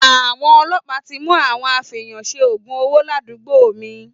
Àwọn ọlọpà ti mú àwọn àfẹyànsẹ ògún òwó làdúgbò mi.